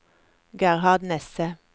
Gerhard Nesset